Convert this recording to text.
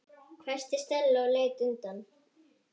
hvæsti Stella og leit undan.